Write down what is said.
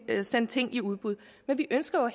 at sende ting i udbud men vi ønsker jo